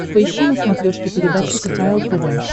поищи на смотрешке передачу кхл тв